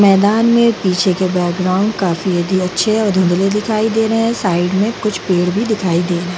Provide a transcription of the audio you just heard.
मैदान में पीछे के बैकग्राउंड काफी यदि अच्छे और दुँधले दिखाई दे रहे हैं | साइड में कुछ पेड़ भी दिखाई दे रहे हैं |